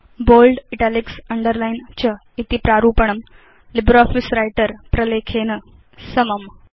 bold italics underline च इति प्रारूपणं लिब्रियोफिस व्रिटर प्रलेखेन समम्